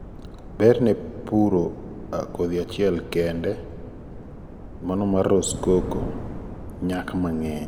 berr ne puro kdhi achiel kende. GLP 2 (Rosecoco) 1500 2000 2.5-3 8-10 nyak mangeny